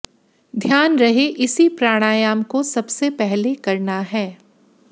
ध्यान रहे इसी प्राणायाम को सबसे पहले करना है